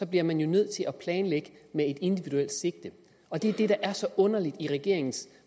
bliver man jo nødt til at planlægge med et individuelt sigte og det der er så underligt i regeringens